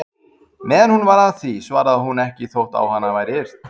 Meðan hún var að því svaraði hún ekki þótt á hana væri yrt.